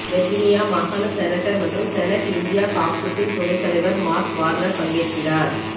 Virginia மாகாண senator மற்றும் senate India காக்கசின் துணைத் தலைவர் மார்க் வார்னர் பங்கேற்கிறார்